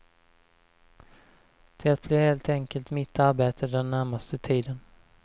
Det blir helt enkelt mitt arbete den närmaste tiden.